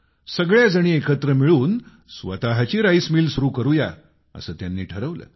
सगळ्या जणी एकत्र मिळून स्वतःची राईस मिल सुरू करूया असं त्यांनी ठरवलं